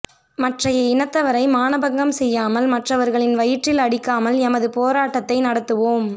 மற்றைய இனத்தவரை மானபங்கம் செய்யாமல் மற்றவர்களின் வயிற்றில் அடிக்காமல் எமது போராட் டத்தை நட த்துவோம்